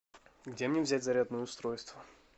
где мне взять зарядное устройство